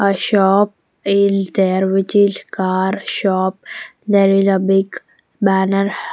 A shop is there which is car shop there is a big banner.